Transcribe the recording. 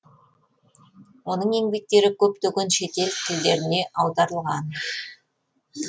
оның еңбектері көптеген шетел тілдеріне аударылған